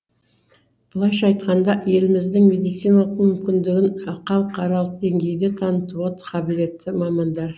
былайша айтқанда еліміздің медициналық мүмкіндігін халықаралық деңгейде танытуға қабілетті мамандар